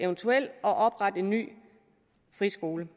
oprette en ny friskole